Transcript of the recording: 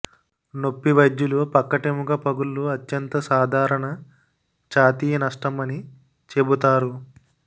నొప్పి వైద్యులు పక్కటెముక పగుళ్లు అత్యంత సాధారణ ఛాతీ నష్టం అని చెబుతారు